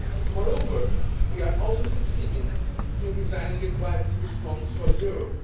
Moreover, we are also succeeding in designing a crisis response for the euro.